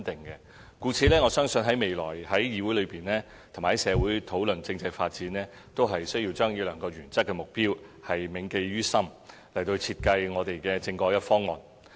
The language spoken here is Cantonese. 故此，我相信未來在議會和在社會上討論政制發展時，均需要將這兩個原則性的目標銘記於心，設計我們的政改方案。